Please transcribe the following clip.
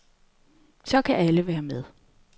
Så kan alle være med.